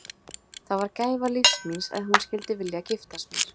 Það var gæfa lífs míns að hún skyldi vilja giftast mér.